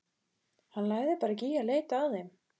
Hann lagði bara ekki í að leita að þeim.